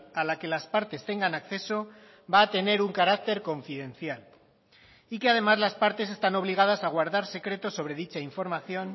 a la que las partes tengan acceso va a tener un carácter confidencial y que además las partes están obligadas a guardar secreto sobre dicha información